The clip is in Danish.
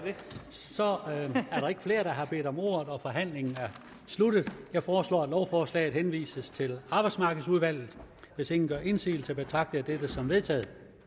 så er der ikke flere der har bedt om ordet og forhandlingen er sluttet jeg foreslår at lovforslaget henvises til arbejdsmarkedsudvalget hvis ingen gør indsigelse betragter jeg dette som vedtaget